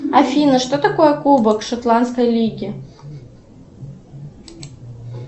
афина что такое кубок шотландской лиги